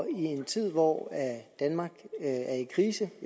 en tid hvor danmark er i krise